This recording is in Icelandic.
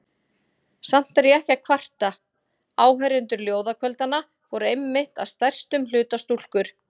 Samt er ég ekki að kvarta: áheyrendur ljóðakvöldanna voru einmitt að stærstum hluta stúlkur.